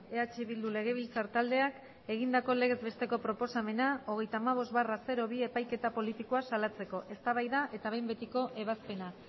eh bildu legebiltzar taldeak egindako legez besteko proposamena hogeita hamabost barra bi epaiketa politikoa salatzeko eztabaida eta behin betiko ebazpena